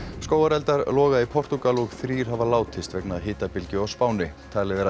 skógareldar loga í Portúgal og þrír hafa látist vegna hitabylgju á Spáni talið er að